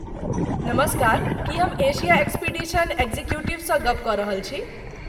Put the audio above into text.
नमस्कार! की हम एशिया एक्सपीडिशन एग्जीक्यूटिवसँ गप्प कऽ रहल छी?